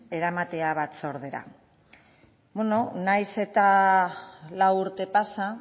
eramatera batzordera beno nahiz eta lau urte pasa